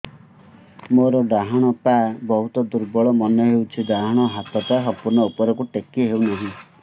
ମୋର ଡାହାଣ ପାଖ ବହୁତ ଦୁର୍ବଳ ମନେ ହେଉଛି ଡାହାଣ ହାତଟା ସମ୍ପୂର୍ଣ ଉପରକୁ ଟେକି ହେଉନାହିଁ